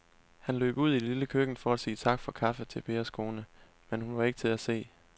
Han løb ud i det lille køkken for at sige tak for kaffe til Pers kone, men hun var ikke til at se.